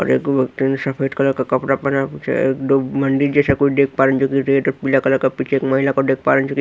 और एक आदमी सफेद कलर का कपड़ा पहना हुआ है। मंदिर जैसा देख पा रहा हैं पीला कलर का एक महिला दिख पा रही हैं।